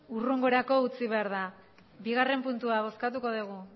hurrengorako utzi behar da bigarrena puntua bozkatuko dugu